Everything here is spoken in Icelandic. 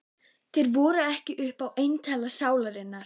Þeir voru ekkert upp á eintal sálarinnar.